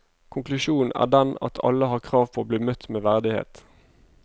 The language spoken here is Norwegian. Konklusjonen er den at alle har krav på å bli møtt med verdighet.